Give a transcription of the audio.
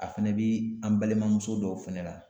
A fɛnɛ bi an balimamuso dɔw fɛnɛ la.